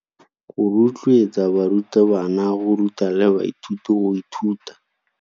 Go rotloetsa barutabana go ruta le baithuti go ithuta.